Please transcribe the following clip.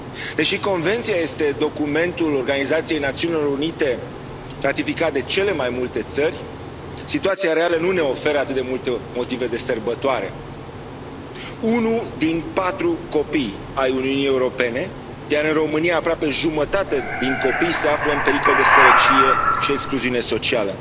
Deși Convenția este documentul Organizației Națiunilor Unite ratificat de cele mai multe țări, situația reală nu ne oferă atât de multe motive de sărbătoare unul din patru copii ai Uniunii Europene, iar în România aproape jumătate din copii, se află în pericol de sărăcie și excluziune socială.